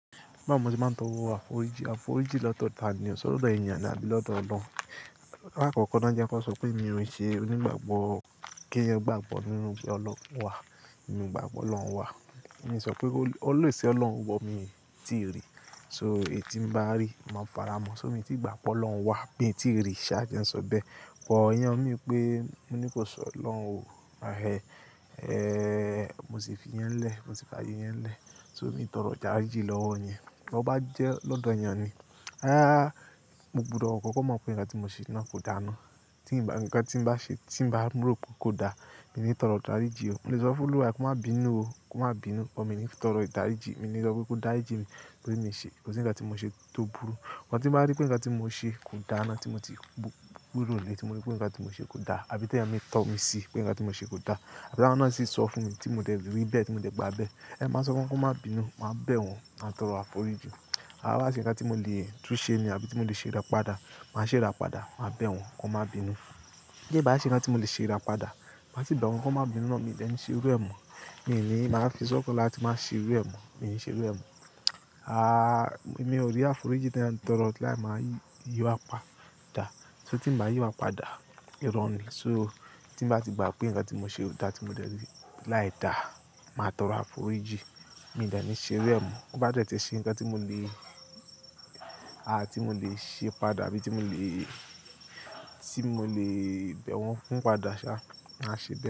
Báwo mo ti máa ń tọrọ àforíjì, àforíjì lódo tani se lọ́dọ̀ ènìyàn àbí lọ́dọ̀ Ọlọ́run. Láàkọ́kọ́ náà jẹ́n ko sọ pé èmi ò ṣe, ò ní gbàgbọ́ kí ẹyan gbàgbọ́ nínú pé Ọlọ́run wà, èmi o gbà pe olọ́hun wà. Èmi sọ pé olè si Ọlọ́run wọ mi ti rí. So èyí tí mo bá rí, máa fara mó. So èmi ti gbà pe olọ́hun wà mi ti rí i, ṣáá jẹ n sọ bẹ́ẹ̀. But iyen o mean pé mo ní kó sọ lọ́hun ò. Ahe, eh mo sì fi yẹn lẹ́, mo sì fi ààyè yẹn lẹ́. So mi tọrọ ìdarijí lọ́wọ́ yẹn. Bí ó bá jẹ́ lọ́dọ̀ ènìyàn ni, ááà mo gbúdọ̀ kọ́kọ́ mọ̀ pé ǹkan tí mo ṣe náà kò da ná. Tí ǹkan tí ǹ bá ṣe tí ǹ bá rò pé kò da, èmi í tọrọ ìdàrijì o. Mo lè sọ fún olúwa re ko má bínú o, ko má bínú, but mi o ni tọrọ ìdaríjì, mi o ní sọ pé kò darijí mi tóri mi ṣe, kó si ǹkan tí mo ṣe tó burú. Sugbon tí mo bá rí pé ǹkan tí mo ṣe kò da ná tí mo ti bú gbero lé, tí mo rí pé ǹkan tí mo ṣe kò da àbí tẹ́ẹ̀yàn mi tọ́ mi sí pé ǹkan tí mo ṣe kò da. Àbi báwọn náà sì sọ fún mi tí mo dẹ̀ rí bẹ́ẹ̀, tí mo dẹ̀ gbà bẹ́ẹ̀. Máa sọ fun wọ́n ko má bínú, máa bẹ̀ wọ́n, máa tọrọ àforíjì. Áà bá se ǹkan tí mo le tún ṣé ni àbí tí mo le ṣe rà padà, màá ṣe rà padà, màá bẹ̀ wọ́n, kí wọ́n má bínú. Kè bá sì ǹkan tí mo le ṣe rà padà, má si bẹ̀ wọ́n kí wọ́n má bínú ná, mi ò dẹ̀ ní ṣerú ẹ̀ mo. Mi ò ní máa fi sọ́kan láti máa ṣerú ẹ̀ mo, mi ò ní ṣerú ẹ̀ mo. Àà mi ò rí àforíjì tí a ń tọrọ láé máa yíwa padà. Se tí n mbá yíwa padà, ìro ni. So tí n bá ti gbà pé ǹkan tí mo ṣe o dá tí mo dẹ̀ rí láì da, màá tọrọ àforíjì. Mi ò dẹ̀ ní ṣerú ẹ̀ mo. Bo ba detí ṣe ǹkan tí mo le, àà tí mo le ṣe padà àbí tí mo le, tí mo le bẹ̀ wọ́n fún padà ṣá, màá ṣe bẹ́ẹ̀